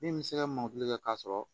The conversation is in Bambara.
Min bɛ se ka mɔnkili kɛ k'a sɔrɔ